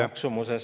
Aitäh!